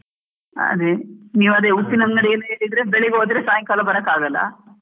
ಹಾ ಅದೇ, ನೀವ್ ಅದೇ ಉಪ್ಪಿನಂಗಡಿಯಲ್ಲಿ ಹೇಳಿದ್ರೆ ಬೆಳಿಗ್ಗೆ ಹೋದ್ರೆ ಸಾಯಿಂಕಾಲ ಬರೋಕ್ ಆಗೋಲ್ಲ.